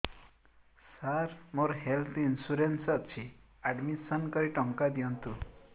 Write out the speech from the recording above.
ସାର ମୋର health insurance ଅଛି admission କରି ଟଙ୍କା ଦିଅନ୍ତୁ